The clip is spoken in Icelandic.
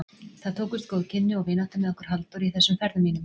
Það tókust góð kynni og vinátta með okkur Halldóri í þessum ferðum mínum.